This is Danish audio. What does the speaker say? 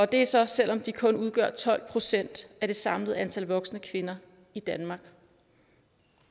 det er så selv om de kun udgør tolv procent af det samlede antal voksne kvinder i danmark